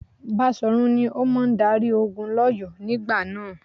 Baṣòrun ni ó máa darí ogun lỌ́yọ̀ọ́ nígbà náà.